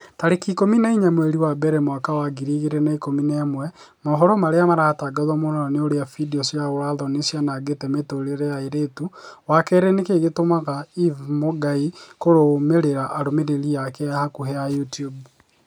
tarĩki ikũmi na inya mweri wa mbere mwaka wa ngiri igĩrĩ na ikũmi na ĩmwe mohoro marĩa maratangatwo mũno ni ũrĩa findio cia ũũra-thoni cianangĩte mĩtũrĩre ya airĩtu wa kerĩ nĩkĩĩ gĩtũmaga eve mũngai kũrũmĩrĩra arũmĩrĩri ake a hakuhi a YouTUBE